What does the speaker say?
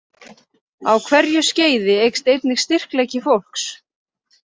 Á hverju skeiði eykst einnig styrkleiki fólks.